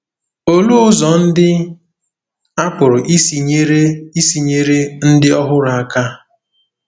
Olee ụzọ ndị a pụrụ isi nyere isi nyere ndị ọhụrụ aka?